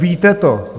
Víte to!